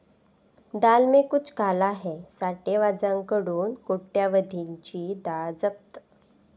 डाल में कुछ काला हैं', साठेबाजांकडून कोट्यवधींची डाळ जप्त